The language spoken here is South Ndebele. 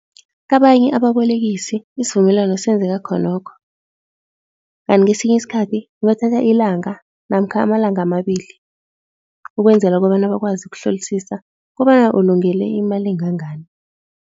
Kabanye ababolekisi isivumelwano senzeka khonokho, kanti kesinye isikhathi kubathatha ilanga namkha amalanga amabili ukwenzela kobana bakwazi ukuhlolisisa kobana ulungele imali engangani.